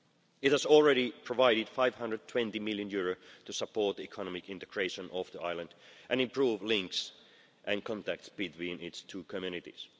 It has already provided EUR 520 million to support the economic integration of the island and improve links and contacts between its two communities.